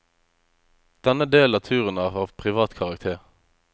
Denne delen av turen er av privat karakter.